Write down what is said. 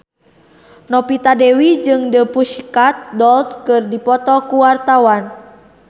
Novita Dewi jeung The Pussycat Dolls keur dipoto ku wartawan